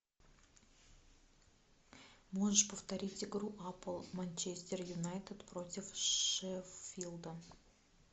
можешь повторить игру апл манчестер юнайтед против шеффилда